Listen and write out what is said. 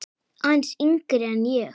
Aðeins yngri en ég.